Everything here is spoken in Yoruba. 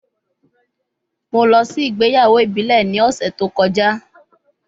Mo lọ si igbeyawo ibile ni ọsẹ to kọja